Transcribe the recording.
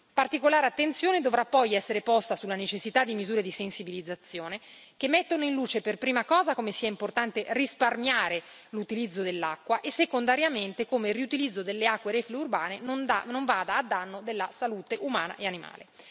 Particolare attenzione dovrà poi essere posta sulla necessità di misure di sensibilizzazione che mettano in luce, per prima cosa, come sia importante risparmiare l'utilizzo dell'acqua e, secondariamente, come il riutilizzo delle acque reflue urbane non vada a danno della salute umana e animale.